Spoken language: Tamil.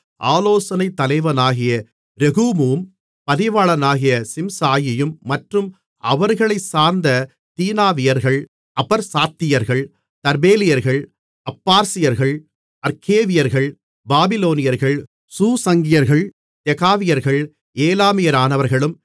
ஆலோசனைத் தலைவனாகிய ரெகூமும் பதிவாளனாகிய சிம்சாயியும் மற்றும் அவர்களைச் சார்ந்த தீனாவியர்கள் அபற்சாத்தியர்கள் தர்பேலியர்கள் அப்பார்சியர்கள் அற்கேவியர்கள் பாபிலோனியர்கள் சூஷங்கியர்கள் தெகாவியர்கள் ஏலாமியரானவர்களும்